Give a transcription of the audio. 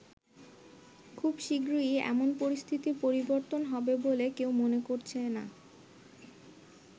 খুব শিগগিরই এমন পরিস্থিতির পরিবর্তন হবে বলে কেউ মনে করছে না।